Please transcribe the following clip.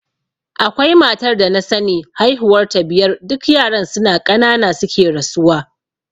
Akwai matar da na sani haihuwar ta biyar duk yaran suna ƙanana suke rasuwa.